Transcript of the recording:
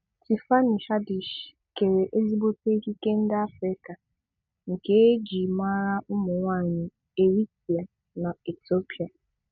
Tiffany Haddish kèrè ezigbòté ékíkè ndị Àfrịka nke e ji màrà ụmụ̀nwáanyị Eritrea na Ethiopia.